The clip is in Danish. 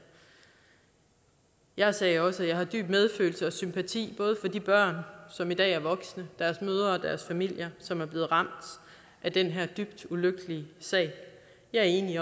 jeg sagde også at jeg har dyb medfølelse med og sympati for de børn som i dag er voksne deres mødre og deres familier som er blevet ramt af den her dybt ulykkelige sag jeg er enig